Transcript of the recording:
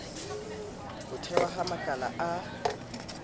ho thehwa ha makala a